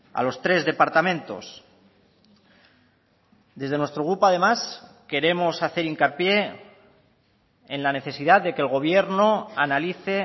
a los tres departamentos desde nuestro grupo además queremos hacer hincapié en la necesidad de que el gobierno analice